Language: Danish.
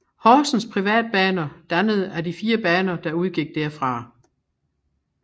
Horsens Privatbaner dannet af de fire baner der udgik derfra